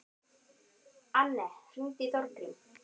Anne, hringdu í Þórgrím.